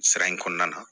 Sira in kɔnɔna na